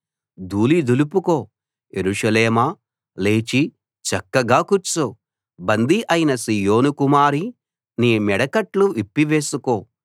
ధూళి దులుపుకో యెరూషలేమా లేచి చక్కగా కూర్చో బందీ అయిన సీయోను కుమారీ నీ మెడకట్లు విప్పివేసుకో